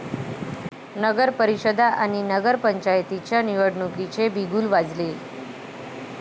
नगरपरिषदा आणि नगरपंचायतींच्या निवडणुकीचे बिगुल वाजले